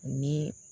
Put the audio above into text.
Ni